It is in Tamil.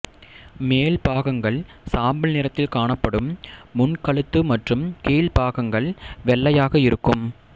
மேல்பாகங்கள் சாம்பல் நிறத்தில் காணப்படும் முன்கழுத்து மற்றும் கீழ்ப்பாகங்கள் வெள்ளையாக இருக்கும்